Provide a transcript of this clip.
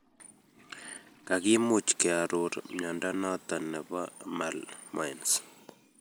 Kagimuch kearor mnyondo noton nebo malmoense